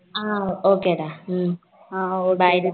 ஹம் okay டா hmm Bye